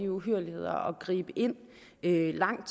uhyrligheder og gribe ind langt